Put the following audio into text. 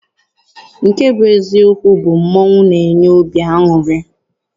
Nke bụ eziokwu bụ mmọnwụ na-enye obi aṅụrị.